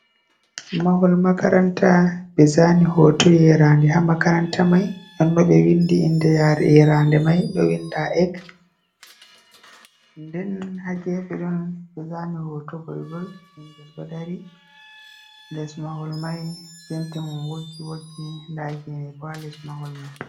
Mahol makaranta ɓe zani hoto yerande ha mahol makaranta mai ɗon no ɓe windi inda yerande mai do winda ek den ha gefe ɗon ɓe zani hoto goigoi ɓingel ɗo dari les mahol mai penti mum woggi woggi nda gene bo ha les mahol mai.